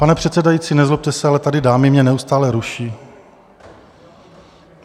Pane předsedající, nezlobte se, ale tady dámy mě neustále ruší.